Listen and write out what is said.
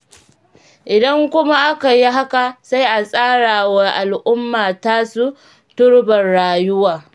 Idan kuma aka yi haka, sai a tsarawa al'umma tasu turbar rayuwar.